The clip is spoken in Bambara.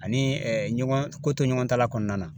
Ani ɛɛ ɲɔgɔn ko to ɲɔgɔn ta la kɔnɔna na